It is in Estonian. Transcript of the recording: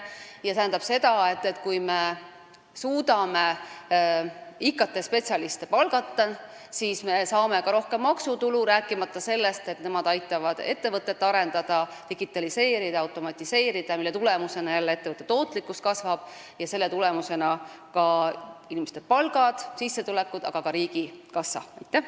See tähendab, et kui me suudame IT-spetsialiste palgata, siis me saame ka rohkem maksutulu, rääkimata sellest, et nemad aitavad ettevõtet arendada, digitaliseerida, automatiseerida, mille tulemusena kasvab ettevõtte tootlikkus ning selle tulemusena kasvavad inimeste palgad ja sissetulekud, aga ka riigikassa tulud.